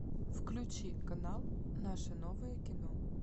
включи канал наше новое кино